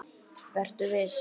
Vertu viss.